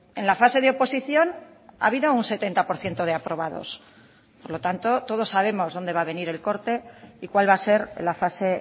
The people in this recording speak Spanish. en la fase de oposición ha habido un setenta por ciento de aprobados por lo tanto todos sabemos dónde va a venir el corte y cuál va a ser la fase